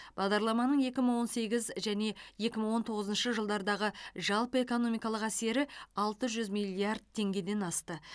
бағдарламаның екі мың он сегіз және екі мың он тоғызыншы жылдардағы жалпы экономикалық әсері алты жүз миллиард теңгеден асты